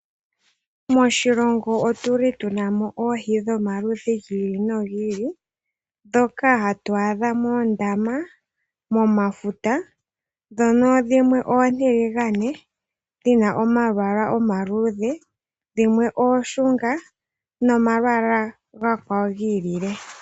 Moshilongo otu na mo oohi dhomaludhi gi ili nogi ili, ndhoka hatu adha moondaama nomomafuta. Dhimwe oontiligane dhi na omalwaala omaluudhe, dhimwe oonshunga nomalwaala omakwawo gi ilile.